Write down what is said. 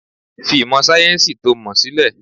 Fi ìmọ̀ sayẹ́nsi to mọ sílẹ̀!